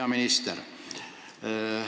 Hea minister!